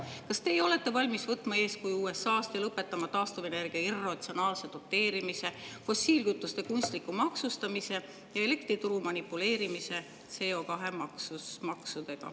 Kas teie olete valmis võtma eeskuju USA‑st ja lõpetama taastuvenergia irratsionaalse doteerimise, fossiilkütuste kunstliku maksustamise ja elektrituru manipuleerimise CO2 maksudega?